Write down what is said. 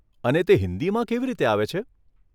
અને તે હિંદીમાં કેવી રીતે આવે છે?